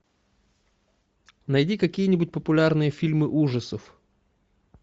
найди какие нибудь популярные фильмы ужасов